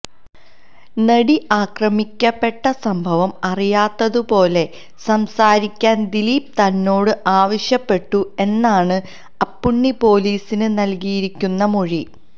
നടി ആക്രമിക്കപ്പെട്ട സംഭവം അറിയാത്തതുപോലെ സംസാരിക്കാന് ദിലീപ് തന്നോട് ആവശ്യപ്പെട്ടു എന്നാണ് അപ്പുണ്ണി പൊലീസിന് നല്കിയിരിക്കുന്ന മൊഴി